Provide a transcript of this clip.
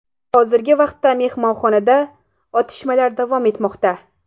Hozirgi vaqtda mehmonxonada otishmalar davom etmoqda.